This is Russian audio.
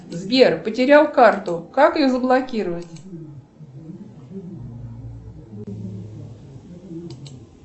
сбер потерял карту как ее заблокировать